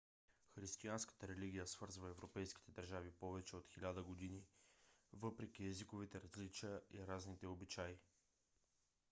християнската религия свързва европейските държави повече от хиляда години въпреки езиковите различия и разните обичаи